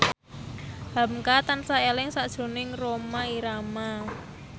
hamka tansah eling sakjroning Rhoma Irama